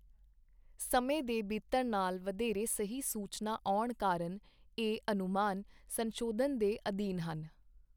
ਸਮੇਂ ਦੇ ਬੀਤਣ ਨਾਲ ਵਧੇਰੇ ਸਹੀ ਸੂਚਨਾ ਆਉਣ ਕਾਰਨ ਇਹ ਅਨੁਮਾਨ ਸੰਸ਼ੋਧਨ ਦੇ ਅਧੀਨ ਹਨ।